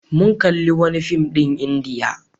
Mun kalli wani fim ɗin Indiya.